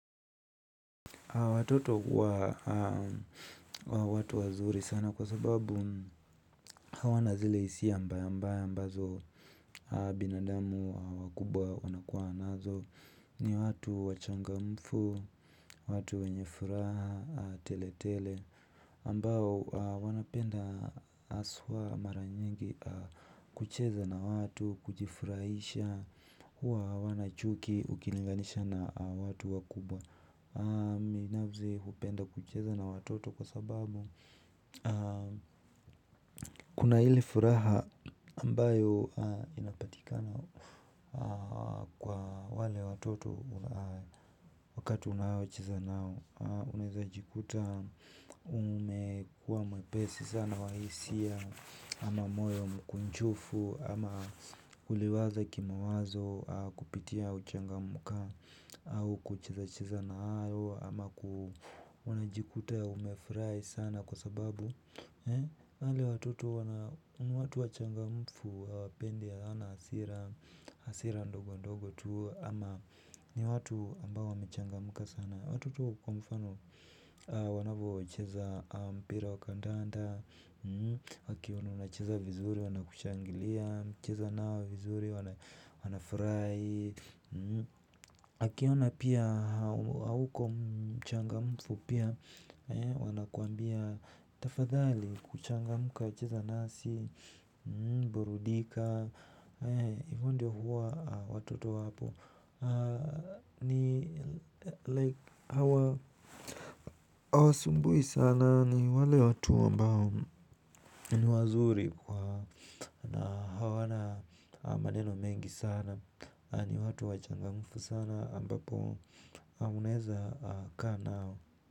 Watoto ni watu wazuri sana. Hawana zile hisia mbaya mbaya. Binadamu wakubwa huwa nazo, ni watu wachangamfu zaidi. Watu wenye furaha, tele tele, ambao wanapenda haswa mara nyingi kucheza na watu, kujifurahisha, huwa hawana chuki ukilinganisha na watu wakubwa. Mimi binafsi hupenda kucheza na watoto kwa sababu kuna ile furaha ambayo inapatika. Kwa wale watoto wakati unao cheza nao nimejikuta nimekuwa mwepesi sana wa hisia wana mwoyo mkunjufu ama kuliwaza kimawazo ama kupitia uchangamkaji au kucheza cheza nao ama kuna jikuta ya umefirai sana kwa sababu hali ya watoto ni watu wachangamfu hawapendi hasira ndogo ndogo tu ama ni watu ambao wamechangamka sana watoto kwa mfano wanavyo cheza mpira wakandanda wakiona unacheza vizuri wanakushangilia, ukicheza nao vizuri wanafurahi wakiona pia hauyuko mchangamufu pia wanakuambia tafadhali kuchangamka cheza nasi, burudika hio ndio huwa watoto wapo, hawasumbui sana ni wale watu ambao ni wazuri kwa na hawana maneno mengi sana ni watu wachangamfu sana ambapo anaweza kaa nao.